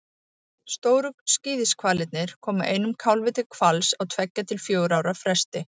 Stóru skíðishvalirnir koma einum kálfi til hvals á tveggja til fjögurra ára fresti.